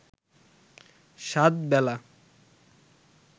সাত বেলা